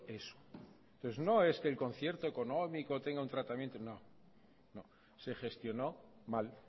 eso entonces no es que el concierto económico tenga un tratamiento no no se gestionó mal